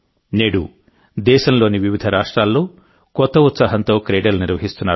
నేడు దేశంలోని వివిధ రాష్ట్రాల్లో కొత్త ఉత్సాహంతో క్రీడలు నిర్వహిస్తున్నారు